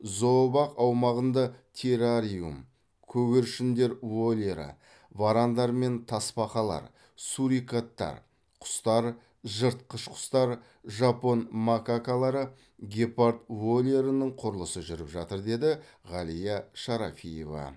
зообақ аумағында террариум көгершіндер вольері варандар мен тасбақалар сурикаттар құстар жыртқыш құстар жапон макакалары гепард вольерінің құрылысы жүріп жатыр деді ғалия шарафиева